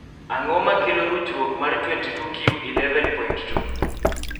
ang'o makkelo ruchruok mar 22q11.2?